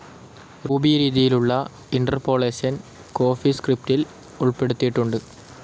Ruby രീതിയിലുള്ള interpolation കോഫീസ്ക്രിപ്റ്റിൽ ഉൾപ്പെടുത്തിയിട്ടുണ്ട്.